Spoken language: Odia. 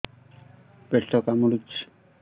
ପେଟ କାମୁଡୁଛି